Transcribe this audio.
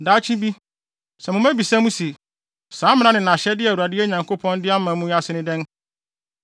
Daakye bi, sɛ mo mma bisa mo se, “Saa mmara ne nʼahyɛde a Awurade, yɛn Nyankopɔn, de ama mo yi ase ne dɛn?”